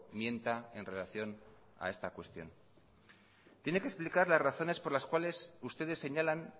mienta en relación a esta cuestión tiene que explicar las razones por las cuales ustedes señalan